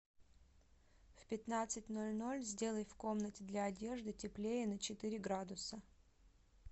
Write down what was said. в пятнадцать ноль ноль сделай в комнате для одежды теплее на четыре градуса